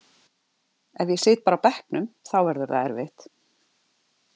Ef ég sit bara á bekknum þá verður það erfitt.